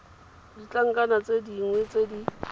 ditlankana tse dingwe tse di